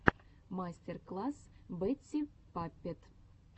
мастер класс бэтти паппет